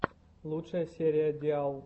лучшая серия диал